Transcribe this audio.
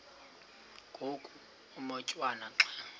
ngoku umotwana xa